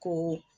Ko